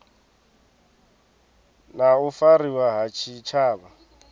na u fariwa ha tshitshavha